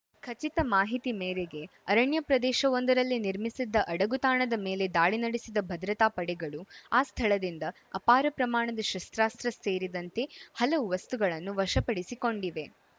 ಖಚಿತ ಮಾಹಿತಿ ಮೇರೆಗೆ ಅರಣ್ಯ ಪ್ರದೇಶವೊಂದರಲ್ಲಿ ನಿರ್ಮಿಸಿದ್ದ ಅಡಗುತಾಣದ ಮೇಲೆ ದಾಳಿ ನಡೆಸಿದ ಭದ್ರತಾ ಪಡೆಗಳು ಆ ಸ್ಥಳದಿಂದ ಅಪಾರ ಪ್ರಮಾಣದ ಶಸ್ತ್ರಾಸ್ತ್ರ ಸೇರಿದಂತೆ ಹಲವು ವಸ್ತುಗಳನ್ನು ವಶಪಡಿಸಿಕೊಂಡಿವೆ